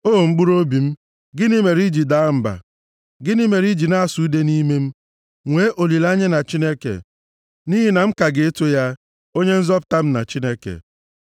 O mkpụrụobi m, gịnị mere i ji daa mba? Gịnị mere i ji na-asụ ude nʼime m? Nwee olileanya na Chineke, nʼihi na m ka ga-eto ya, Onye nzọpụta m na Chineke m.